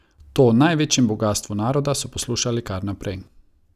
To o največjem bogastvu naroda so poslušali kar naprej.